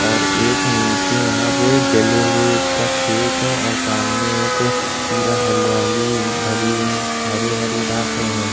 और एक नीचे यहाँ पे जले हुए का खेत है और सामने एक पूरा हरियाली हरी हरी-हरी घासें हैं।